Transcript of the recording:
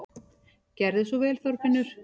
Gerðu svo vel, Þorfinnur!